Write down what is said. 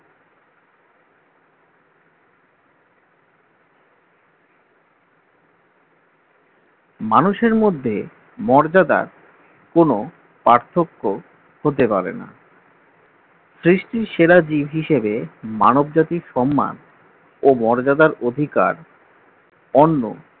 মানুষের মধ্যে মর্যাদার কোন পার্থক্য হতে পারে না সৃষ্টির সেরা জীব হিসেবে মানবজাতির সম্মান ও মর্যাদার অধিকার অন্য